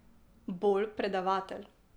Bolj predavatelj.